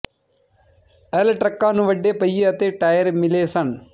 L ਟਰੱਕਾਂ ਨੂੰ ਵੱਡੇ ਪਹੀਏ ਅਤੇ ਟਾਇਰ ਮਿਲੇ ਸਨ